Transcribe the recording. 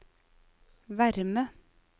varme